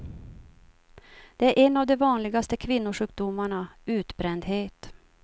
Det är en av de vanligaste kvinnosjukdomarna, utbrändhet.